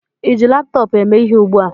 ịji laptọọpụ eme ihe ugbu a?